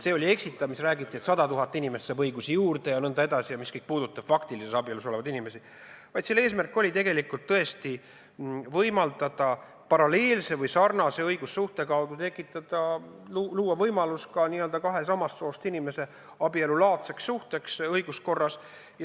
See oli eksitav, mis räägiti, et sada tuhat inimest saab õigusi juurde jne, see puudutas faktilises abielus olevaid inimesi, vaid eesmärk oli tõesti võimaldada paralleelse või sarnase õigussuhte kaudu luua õiguskorras võimalus ka kahe samast soost inimese abielulaadseks suhteks.